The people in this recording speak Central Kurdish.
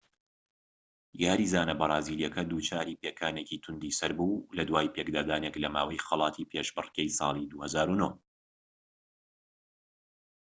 یاریزانە بەرازیلیەکە دووچاری پێکانێکی توندی سەر بوو لە دوای پێکدادانێک لە ماوەی خەڵاتی پێشبڕکێی ساڵی 2009